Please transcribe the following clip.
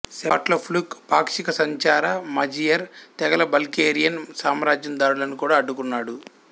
Svatopluk పాక్షికసంచార Magyar తెగల Bulgarian సామ్రాజ్యం దాడులను కూడా అడ్డుకున్నాడు